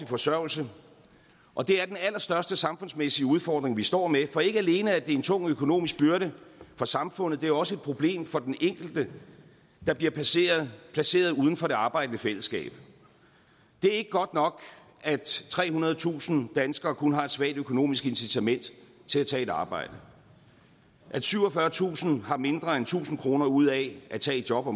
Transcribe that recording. forsørgelse og det er den allerstørste samfundsmæssige udfordring vi står med for ikke alene er det en tung økonomisk byrde for samfundet det er også et problem for den enkelte der bliver placeret placeret uden for det arbejdende fællesskab det er ikke godt nok at trehundredetusind danskere kun har et svagt økonomisk incitament til at tage et arbejde at syvogfyrretusind har mindre end tusind kroner ud af at tage et job og